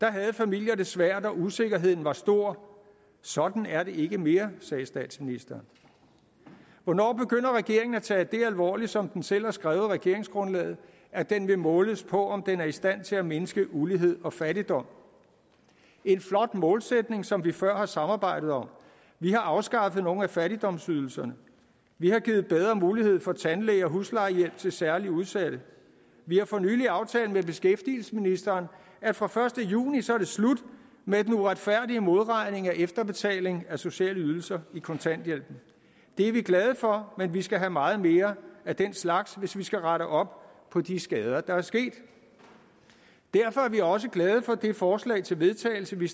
havde familier det svært og usikkerheden var stor sådan er det ikke mere sagde statsministeren hvornår begynder regeringen at tage det alvorligt som den selv har skrevet i regeringsgrundlaget at den vil måles på om den er i stand til at mindske ulighed og fattigdom en flot målsætning som vi før har samarbejdet om vi har afskaffet nogle af fattigdomsydelserne vi har givet bedre mulighed for tandlæge og huslejehjælp til særligt udsatte vi har for nylig aftalt med beskæftigelsesministeren at fra første juni er det slut med den uretfærdige modregning af efterbetaling af sociale ydelser i kontanthjælpen det er vi glade for men vi skal have meget mere af den slags hvis vi skal rette op på de skader der er sket derfor er vi jo også glade for det forslag til vedtagelse vi